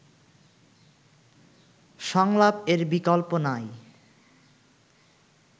সংলাপ এর বিকল্প নাই